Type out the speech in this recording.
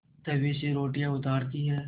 तवे से रोटियाँ उतारती हैं